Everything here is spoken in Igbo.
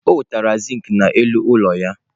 O nwetara zinc n'elu ụlọ ya.